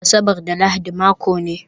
Asabar da Lahadi mako ne